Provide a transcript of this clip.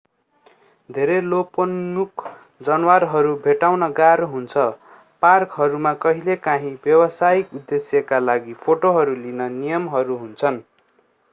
धेरै लोपन्मुख जनावरहरू भेट्टाउन गाह्रो हुन्छ पार्कहरूमा कहिलेकाहीँ व्यावसायिक उद्देश्यका लागि फोटोहरू लिन नियमहरू हुन्छन्